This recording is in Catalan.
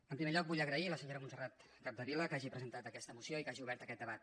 en primer lloc vull agrair a la senyora montserrat capdevila que hagi presentat aquesta moció i que hagi obert aquest debat